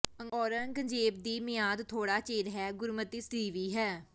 ਔਰੰਗਜ਼ੇਬ ਦੀ ਮਿਆਦ ਥੌੜ੍ਹਾ ਚਿਰ ਹੈ ਗੁਰਮਤਿ ਸਦੀਵੀ ਹੈ